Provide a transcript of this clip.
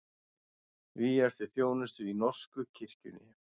Vígjast til þjónustu í norsku kirkjunni